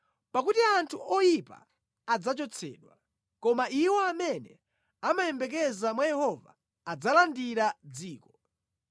Pakuti anthu oyipa adzachotsedwa, koma iwo amene amayembekeza mwa Yehova adzalandira dziko.